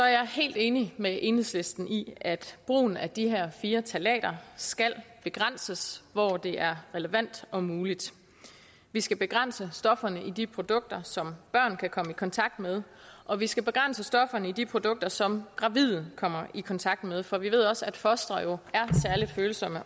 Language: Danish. jeg helt enig med enhedslisten i at brugen af de her fire ftalater skal begrænses hvor det er relevant og muligt vi skal begrænse stofferne i de produkter som børn kan komme i kontakt med og vi skal begrænse stofferne i de produkter som gravide kommer i kontakt med for vi ved også at fostre jo er særlig følsomme